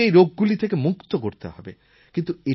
ভারতকে এই রোগগুলি থেকে মুক্ত করতে হবে